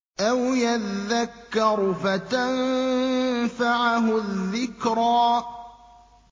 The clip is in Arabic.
أَوْ يَذَّكَّرُ فَتَنفَعَهُ الذِّكْرَىٰ